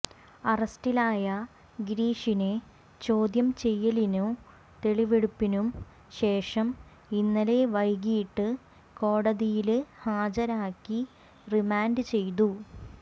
അറസ്റ്റിലായ ഗിരീഷിനെ ചോദ്യം ചെയ്യലിനും തെളിവെടുപ്പിനും ശേഷം ഇന്നലെ വൈകിട്ട് കോടതിയില് ഹാജരാക്കി റിമാന്റ് ചെയ്തു